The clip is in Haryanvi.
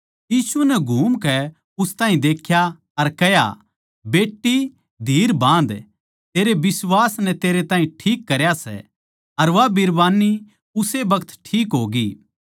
यीशु नै घूमकै उस ताहीं देख्या अर कह्या बेट्टी धीर बाँध तेरै बिश्वास नै तेरै ताहीं ठीक करया सै अर वा बिरबान्नी उस्से बखत ठीक होगी